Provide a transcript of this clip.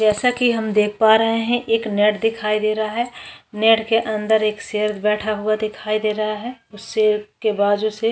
जैसा की हम देख पा रहे है एक नेट दिखाई दे रहा है नेट के अंदर एक सेर बैठा हुआ दिखाई दे रहा है सेर के बाजू से --